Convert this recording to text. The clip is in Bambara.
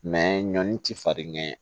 ɲɔni ti farin ɲɛ